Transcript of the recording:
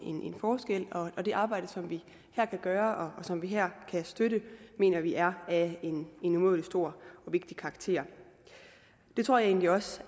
forskel og det arbejde som vi her kan gøre og som vi her kan støtte mener vi er af en umådelig stor og vigtig karakter det tror jeg egentlig også